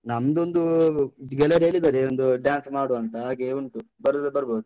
ನಮ್ದೊಂದು ಗೆಳೆಯರ್ ಹೇಳಿದರೆ, ಏನಾದ್ರು dance ಮಾಡ್ವಾ ಅಂತ, ಹಾಗೆ ಉಂಟು. ಬರುದಾದ್ರೆ ಬರ್ಬೋದು.